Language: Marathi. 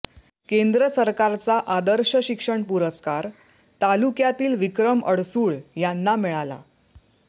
केंद्र सरकारचा आदर्श शिक्षण पुरस्कार तालुक्यातील विक्रम अडसूळ यांना मिळाला